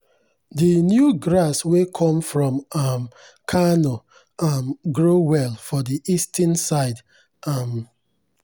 the new grass wey come from um kano um grow well for the eastern side. um